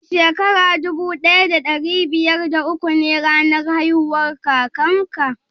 Shin Shekara dubu daya da dari biyar da uku ne ranar haihuwar kakan ka?